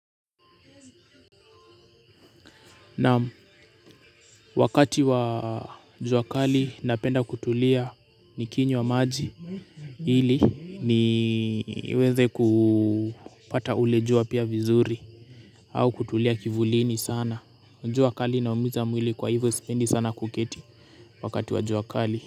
Naam wakati wa jua kali napenda kutulia nikinywa maji ili niweze kupata ule jua pia vizuri au kutulia kivulini sana jua kali inaumiza mwili kwa hivyo sipendi sana kuketi wakati wa jua kali.